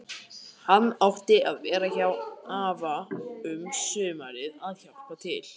Hann átti að vera hjá afa um sumarið að hjálpa til.